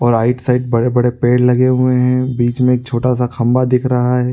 और आइड साइड बड़े-बड़े पेड़ लगे हुए है बीच में एक छोटा सा खंभा दिख रहा है।